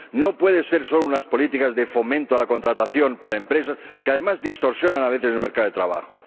No pueden ser solo unas políticas de fomento a la contratación para las empresas, que además distorsionan a veces el mercado de trabajo.